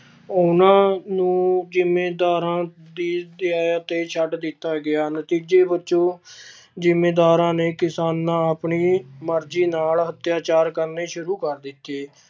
ਉਹਨਾਂ ਨੂੰ ਜ਼ਿੰਮੀਦਾਰਾਂ ਦੀ ਦਇਆ ਤੇ ਛੱਡ ਦਿੱਤਾ ਗਿਆ ਨਤੀਜੇ ਵਜੋਂ ਜ਼ਿੰਮੀਦਾਰਾਂ ਨੇ ਕਿਸਾਨਾਂ ਆਪਣੀ ਮਰਜ਼ੀ ਨਾਲ ਅਤਿਆਚਾਰ ਕਰਨੇ ਸ਼ੁਰੂ ਕਰ ਦਿੱਤੇ।